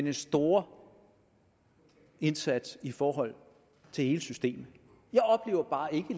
en stor indsats i forhold til hele systemet